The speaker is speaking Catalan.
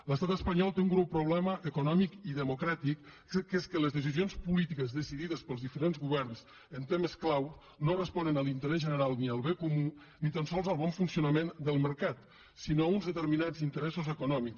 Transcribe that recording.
l’estat espanyol té un greu problema econòmic i democràtic que és que les decisions polítiques decidides pels diferents governs en temes clau no responen a l’interès general ni al bé comú ni tan sols al bon funcionament del mercat sinó a uns determinats interessos econòmics